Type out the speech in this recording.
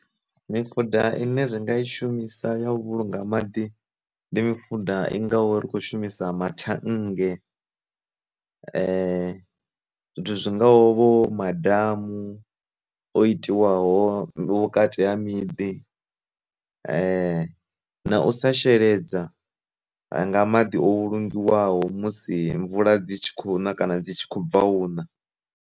Mi fuda ine ri nga i shumisa ya vhulunga maḓi ndi mifuda i ngaho ri khou shumisa ma thannge, zwithu zwi ngaho vho madamu o itiwaho vhukati ha miḓi, na u sa sheledza nga madi o vhulungiwaho musi mvula dzi tshi kho u na kana dzi tshi khou bva una.